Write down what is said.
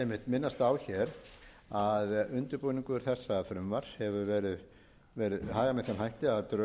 minnast á hér að undirbúningi þessa frumvarps hefur verið hagað með þeim hætti að drög að